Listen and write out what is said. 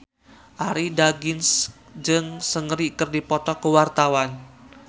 Arie Daginks jeung Seungri keur dipoto ku wartawan